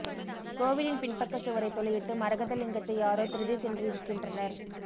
கோவிலின் பின்பக்க சுவரைத் துளையிட்டு மரகத லிங்கத்தை யாரோ திருடிச் சென்றிருக்கின்றனர்